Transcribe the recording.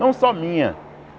Não só minha.